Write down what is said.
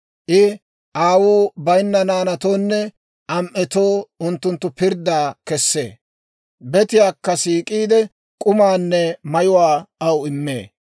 I aawuu bayinna naanatoonne am"etoo unttunttu pirddaa kessee; betiyaakka siik'iide, k'umaanne mayuwaa aw immee.